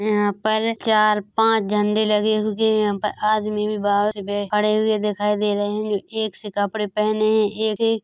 यहाँ पर चार पांच झंडे लगे हुए हैं यहाँ पर आदमी भी बहुत बै खड़े हुए दिखाई दे रहे हैं एक से कपड़े पहने हैं एक से--